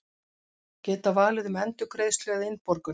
Geta valið um endurgreiðslu eða innborgun